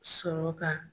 Sɔrɔ ka